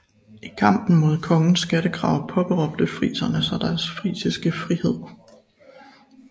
I kampen imod kongens skattekrav påberåbte friserne sig deres frisiske frihed